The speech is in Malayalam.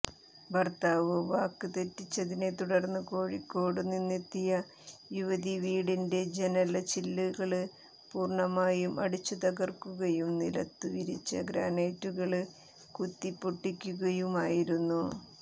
ഭര്ത്താവ് വാക്ക് തെറ്റിച്ചതിനെ തുടര്ന്ന് കോഴിക്കോടു നിന്നെത്തിയ യുവതി വീടിന്റെ ജനല്ചില്ലുകള് പൂര്ണമായും അടിച്ചുതകര്ക്കുകയും നിലത്തുവിരിച്ച ഗ്രാനൈറ്റുകള് കുത്തിപ്പൊട്ടിക്കുകയുമായിരുന്നു